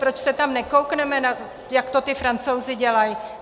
Proč se tam nekoukneme, jak to ti Francouzi dělají?